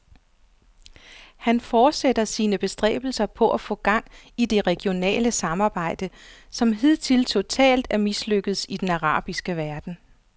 Han fortsætter sine bestræbelser på at få gang i det regionale samarbejde, som hidtil totalt er mislykkedes i den arabiske verden.